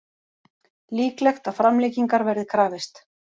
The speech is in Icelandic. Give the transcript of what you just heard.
Líklegt að framlengingar verði krafist